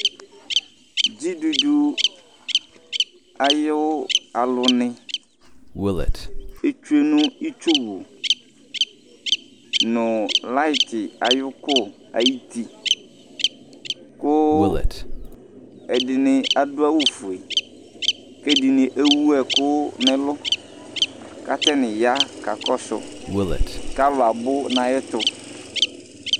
Dzidudu ayʋ alʋnɩ etsue nʋ itsuwu nʋ layɩtɩ ayʋ ʋkʋ ayuti kʋ ɛdɩnɩ adʋ awʋfue kʋ ɛdɩnɩ ewu ɛkʋ nʋ ɛlʋ kʋ atanɩ ya kakɔsʋ kʋ alʋ abʋ nʋ ayɛtʋ